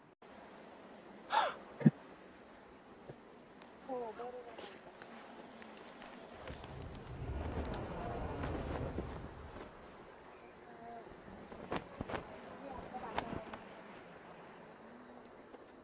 हो बरोबर म्हटलं आसणार आहे म्हणजे अं खुप असं महत्वाचंं आहे आपलं वातावरणासाठी अं आणि